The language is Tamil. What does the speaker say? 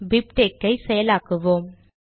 பிப்டெக்ஸ் செயலாக்குவோம்